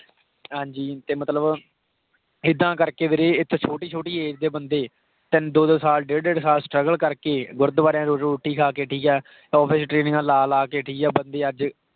ਹਾਂਜੀ ਤੇ ਮਤਲਬ ਇੱਦਾਂ ਕਰ ਕੇ ਵੀਰੇ ਇਸ ਤੋਹ ਸ਼ੋਟੀ ਸ਼ੋਟੀ age ਦੇ ਬੰਦੇ ਤਿੰਨ, ਦੋ ਦੋ ਸਾਲ, ਡੇਢ਼ ਡੇਢ਼ ਸਾਲ struggle ਕਰ ਕੇ ਗੁਰੂਦਵਾਰਿਆਂ ਵਿਚ ਰੋਟੀ ਖਾ ਕੇ, ਠੀਕ ਹੈ। . ਵਿਚ training ਲਾ ਲਾ ਕੇ ਠੀਕ ਆ, ਬੰਦੇ ਅੱਜ,